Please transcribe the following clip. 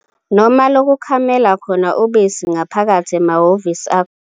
.noma lokukhamela khona ubisi ngaphakathi emahhovisi akhona.